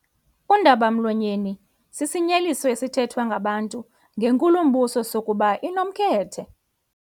Undaba-mlonyeni sisinyeliso esithethwa ngabantu ngenkulumbuso sokuba inomkhethe.